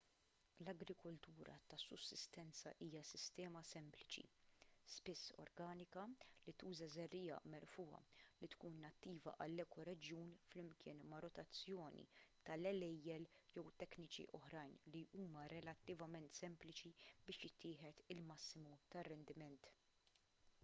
l-agrikoltura ta' sussistenza hija sistema sempliċi spiss organika li tuża żerriegħa merfugħa li tkun nattiva għall-ekoreġjun flimkien ma' rotazzjoni tal-għelejjel jew tekniki oħrajn li huma relattivament sempliċi sabiex jittieħed il-massimu tar-rendiment